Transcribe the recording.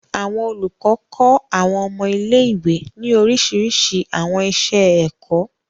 Àwọn olukọ kọ Àwọn ọmọ ile-iwe ni oriṣiriṣi àwọn iṣẹ-ẹkọ.